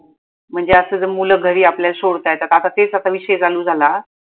म्हणजे असं जर मुल घरी आपल्या सोडत्यात तर काका तेच आता मी शेजाणू झाला